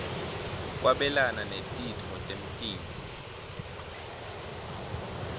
kwabelana netitfo temtimba